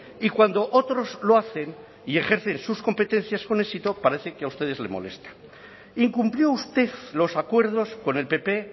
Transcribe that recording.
y cuando otros lo hacen y ejercen sus competencias con éxito parece que a ustedes les molesta incumplió usted los acuerdos con el pp